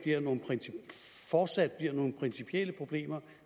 fortsat bliver nogen principielle problemer